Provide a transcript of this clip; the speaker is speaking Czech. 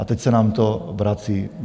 A teď se nám to vrací.